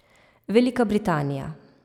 Velika Britanija.